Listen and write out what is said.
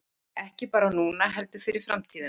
Ekki bara núna heldur fyrir framtíðina